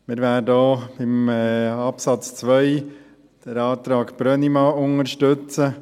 Wir werden auch bei Absatz 2 den Antrag Brönnimann unterstützen.